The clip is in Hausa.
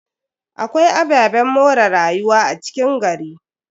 Akwai ababen more rayuwa a cikin gari.